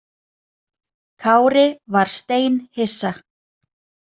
Kári var steinhissa.